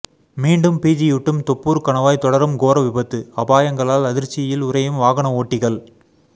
மீண்டும் பீதியூட்டும் தொப்பூர் கணவாய் தொடரும் கோர விபத்து அபாயங்களால் அதிர்ச்சியில் உறையும் வாகன ஓட்டிகள்